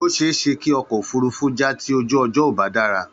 Ó ṣe é ṣe kí ọkọ̀ òfurufú já tí ojú ọjọ́ ò bá dára.